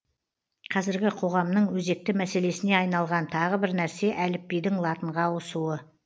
қазіргі қоғамның өзекті мәселесіне айналған тағы бір нәрсе әліпбидің латынға ауысуы